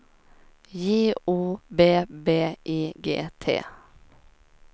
J O B B I G T